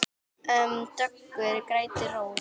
Döggum grætur rós.